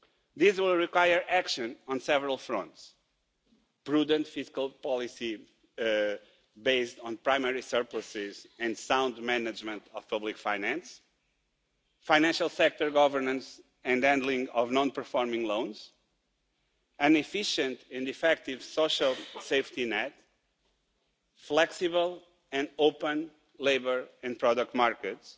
This will require action on several fronts prudent fiscal policy based on primary surpluses and sound management of public finance, financial sector governance and handling of non-performing loans, an efficient and effective social safety net, flexible and open labour and product markets